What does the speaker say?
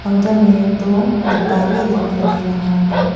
Counter में दो डिब्बा भी दिखाई दे रहा है।